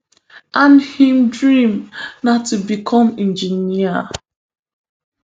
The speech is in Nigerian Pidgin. and im dream na to become engineer